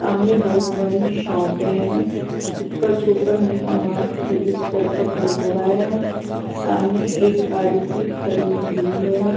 सामने बहुत बड़ी शॉप है उस पर सुपर मेगा मार्ट रजिस्टर का बोर्ड लगा है सामने एक गाड़ी भी खड़ी हुई है.